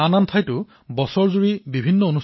মোৰ মৰমৰ দেশবাসীসকল দুদিন পিছত ২৬ নৱেম্বৰ